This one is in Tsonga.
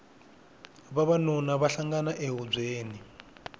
vavanuna va hlangana e hubyeni